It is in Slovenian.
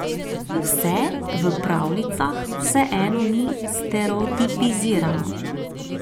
Vse v pravljicah vseeno ni stereotipizirano.